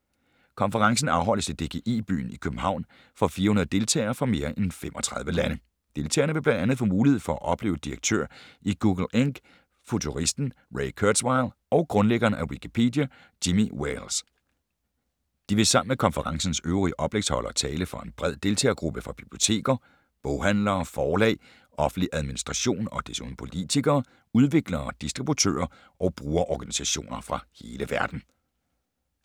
Konferencen afholdes i DGI-byen i København for 400 deltagere fra mere end 35 lande. Deltagerne vil bl.a. få mulighed for at opleve direktør i Google Inc., futuristen Ray Kurzweil og grundlæggeren af Wikipedia, Jimmy Wales. De vil sammen med konferencens øvrige oplægsholdere tale for en bred deltagergruppe fra biblioteker, boghandlere, forlag, offentlig administration og desuden politikere, udviklere, distributører og brugerorganisationer fra hele verden.